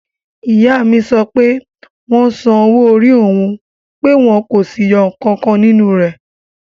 Ìyá mi sọ pé wọ́n san owó-orí òun pé wọ́n kò sì yọ ǹkankan nínú rẹ̀